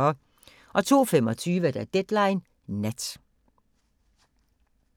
02:25: Deadline Nat